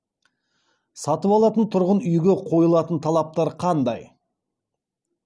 сатып алатын тұрғын үйге қойылатын талаптар қандай